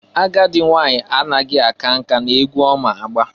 Agadị nwanyị anaghi aka nka na-egwu ọma agba.